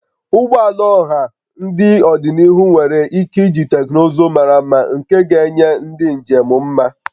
Ụgbọ ala ọha n'ọdịniihu nwere ike iji teknụzụ mara mma nke ga-enye ndị njem mma